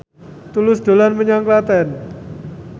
Tulus dolan menyang Klaten